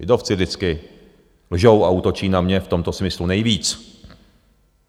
Lidovci vždycky lžou a útočí na mě v tomto smyslu nejvíc.